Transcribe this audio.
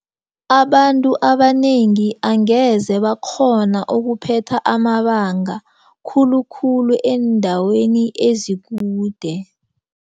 Abantu abanengi angeze bakghona ukuphetha amabanga khulukhulu eendaweni ezikude.